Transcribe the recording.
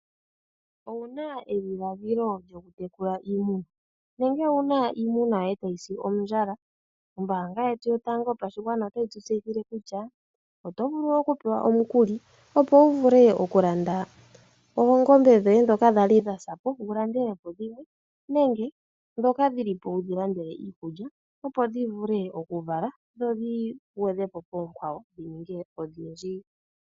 Owu na edhiladhilo lyokutekula iimuna? Nenge owu na iimuna yoye tayi si ondjala? Ombaanga yetu yotango yopashigwana otayi tu tseyithile kutya oto vulu okupewa omukuli, opo wu vule okulanda oongombe dhoye ndhoka dha li dha sa po, wu landele po dhimwe nenge ndhoka dhi li po wu dhi landele iikulya, opo dhi vule okuvala dho dhi gwedhe po poonkwawo dhi ninge odhindji.